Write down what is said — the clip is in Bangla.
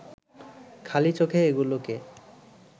খালি চোখে এগুলোকে